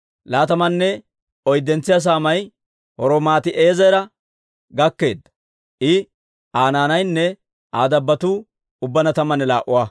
Laatamanne oyddentso saamay Romamtti'eezera gakkeedda; I, Aa naanaynne Aa dabbotuu ubbaanna tammanne laa"a.